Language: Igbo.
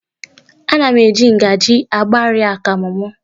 Ana m eji ngaji agbari akamụ m.